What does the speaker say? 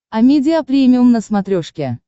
амедиа премиум на смотрешке